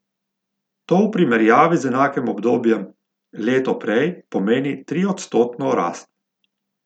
To v primerjavi z enakim obdobjem leto prej pomeni triodstotno rast.